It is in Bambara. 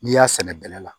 N'i y'a sɛnɛ bɛlɛ la